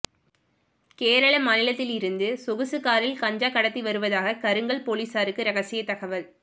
கேரள மாநிலத்திலிருந்து சொகுசு காரில் கஞ்சா கடத்தி வருவாதாக கருங்கல் போலீஸாருக்கு ரகசிய தகவல்